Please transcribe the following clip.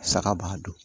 Saga b'a dun